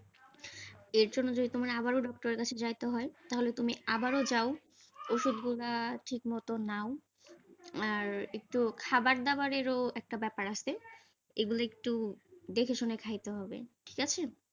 এর জন্য তোমার যদি আবারও doctor এর কাছে যাইতে হয়, তাহলে তুমি আবারও যাও, ওষুধগুলো ঠিক মত নাও, আর একটু